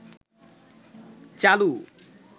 চালু